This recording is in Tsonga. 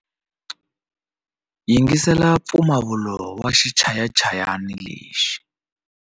Yingisela mpfumawulo wa xichayachayani lexi.